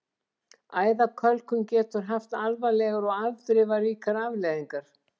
Æðakölkun getur haft alvarlegar og afdrifaríkar afleiðingar.